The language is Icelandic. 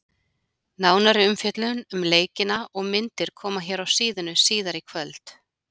Nánari umfjöllun um leikina og myndir koma hér á síðuna síðar í kvöld.